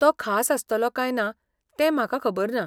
तो खास आसतलो काय ना तें म्हाका खबर ना.